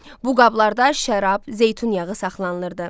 Bu qablarda şərab, zeytun yağı saxlanılırdı.